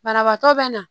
Banabaatɔ bɛ na